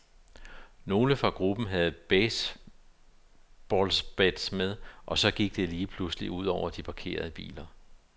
Nogle fra gruppen havde baseballbats med, og så gik det lige pludselig ud over de parkerede biler.